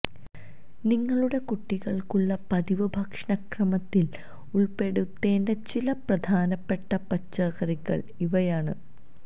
നിങ്ങളുടെ കുട്ടികള്ക്കുള്ള പതിവ് ഭക്ഷണക്രമത്തില് ഉള്പ്പെടുത്തേണ്ട ചില പ്രധാനപ്പെട്ട പച്ചക്കറികള് ഇവയാണ്